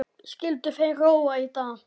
Skyldu þeir róa í dag?